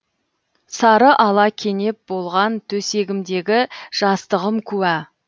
сары ала кенеп болған төсегімдегі жастығым куә